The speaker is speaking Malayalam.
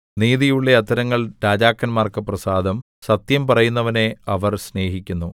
നീതിയുള്ള അധരങ്ങൾ രാജാക്കന്മാർക്ക് പ്രസാദം സത്യം പറയുന്നവനെ അവർ സ്നേഹിക്കുന്നു